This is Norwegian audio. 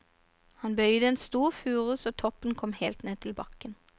Han bøyde en stor furu så toppen kom helt ned til bakken.